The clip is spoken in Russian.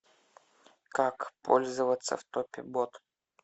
как пользоваться в топе бот